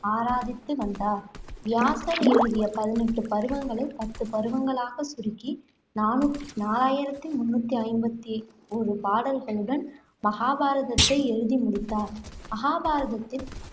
ஆராதித்து வந்தார். வியாசர் எழுதிய பதினெட்டு பருவங்களை பத்து பருவங்களாகச் சுருக்கி நானூ~ நாலாயிரத்தி முண்ணூத்தி ஐம்பத்தி ஓரு பாடல்களுடன் மகாபாரதத்தை எழுதி முடித்தார். மகாபாரதத்தில்